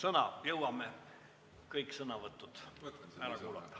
Aga me jõuame kõik sõnavõtud ära kuulata.